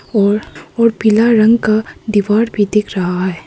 और और पीला रंग का दीवार भी दिख रहा है।